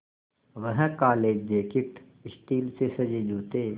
वह काले jacket steel से सजे जूते